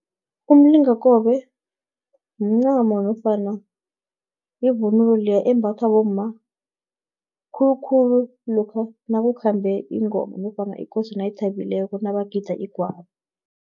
Umlingakobe, mncamo nofana yivunulo leya embathwa bomma, khulukhulu lokha nakukhambe ingoma, nofana ikosi nayithabileko, nabagida igwabo.